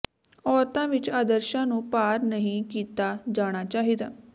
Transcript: ਔਰਤਾਂ ਵਿਚ ਆਦਰਸ਼ਾਂ ਨੂੰ ਪਾਰ ਨਹੀਂ ਕੀਤਾ ਜਾਣਾ ਚਾਹੀਦਾ